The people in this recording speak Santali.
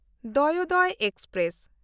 ᱫᱚᱭᱳᱫᱚᱭ ᱮᱠᱥᱯᱨᱮᱥ